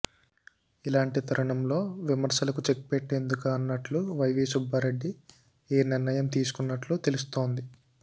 ఇలాంటి తరుణంలో విమర్శలకు చెక్ పెట్టేందుకా అన్నట్లు వైవీ సుబ్బారెడ్డి ఈ నిర్ణయం తీసుకున్నట్లు తెలుస్తోంది